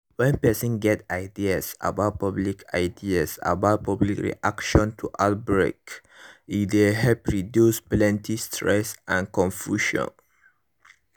when person get ideas about public ideas about public reaction to outbreak e dey help reduce plenty stress and confusion